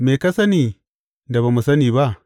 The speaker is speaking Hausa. Me ka sani da ba mu sani ba?